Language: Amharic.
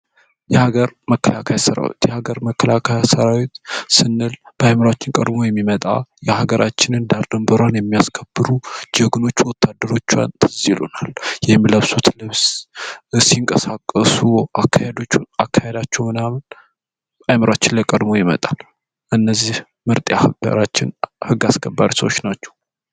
የሀገር መከላከያ ሰራዊት የሀገር መከላከያ ሰራዊት ስንል በአእምሯችን ቀድሞ የሚመጣ የሀገር ዳር ድንበሯን የሚያስከብሩ ጀግኖች ወታደሮቿ ትዝ ይለናል። የሚለብሱት ልብስ ሲንቀሳቀሱ ፣አካሄዳቸው ምናምን አእምሯችን ላይ ቀድሞ ይመጣል። እነዚ ምርጥ የሀገራችን ህግ አስከባሪ ሰዎች ነበሩ።